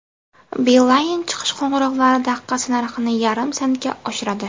Beeline chiqish qo‘ng‘iroqlari daqiqasi narxini yarim sentga oshiradi.